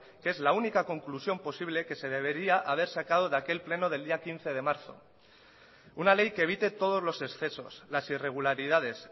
que es la única conclusión posible que se debería haber sacado de aquel pleno del día quince de marzo una ley que evite todos los excesos las irregularidades